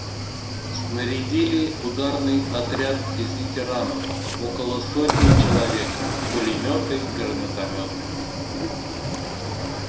снарядили ударный отряд из ветеранов около сотни человек пулемёты гранатомёты